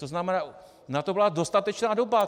To znamená, na to byla dostatečná doba.